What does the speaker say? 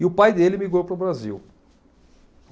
E o pai dele migrou para o Brasil.